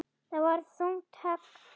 Það var þungt högg.